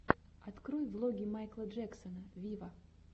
открой влоги майкла джексона виво